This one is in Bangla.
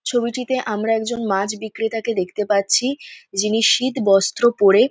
ছবিটিতে আমরা একজন মাছ বিক্রেতাতে দেখতে পাচ্ছি যিনি শীতবস্ত্র পরে--